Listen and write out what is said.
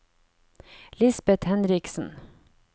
Lisbet Henriksen